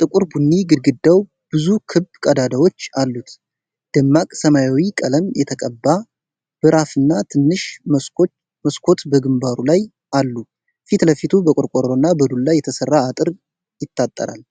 ጥቁር ቡኒ ግድግዳው ብዙ ክብ ቀዳዳዎች አሉት። ደማቅ ሰማያዊ ቀለም የተቀባ በራፍና ትንሽ መስኮት በግንባሩ ላይ አሉ። ፊት ለፊቱ በቆርቆሮና በዱላ የተሰራ አጥር ይታጠራል።